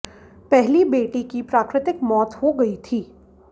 पहली बेटी की प्राकृतिक मौत हो गई थी